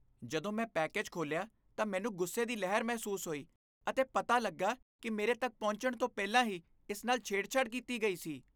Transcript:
ਜਦੋਂ ਮੈਂ ਪੈਕੇਜ ਖੋਲ੍ਹਿਆ ਤਾਂ ਮੈਨੂੰ ਗੁੱਸੇ ਦੀ ਲਹਿਰ ਮਹਿਸੂਸ ਹੋਈ ਅਤੇ ਪਤਾ ਲੱਗਾ ਕਿ ਮੇਰੇ ਤੱਕ ਪਹੁੰਚਣ ਤੋਂ ਪਹਿਲਾਂ ਹੀ ਇਸ ਨਾਲ ਛੇੜਛਾੜ ਕੀਤੀ ਗਈ ਸੀ।